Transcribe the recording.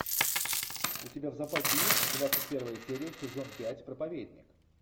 у тебя в запасе есть двадцать первая серия сезон пять проповедник